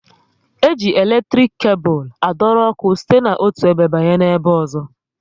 E ji eletrik kebul adoro ọkụ site na otu ebe banye n'ebe ozo